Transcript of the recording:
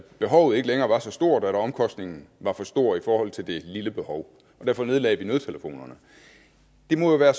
behovet ikke længere var så stort sådan at omkostningen var for stor i forhold til det lille behov derfor nedlagde ved nødtelefonerne det må jo være